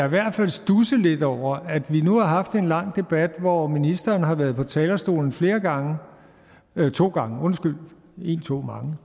i hvert fald studse lidt over at vi nu har haft en lang debat hvor ministeren har været på talerstolen flere gange nej to gange undskyld en